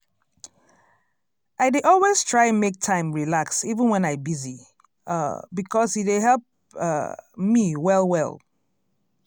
i dey always try make time relax even wen i busy um because e dey help um me well well.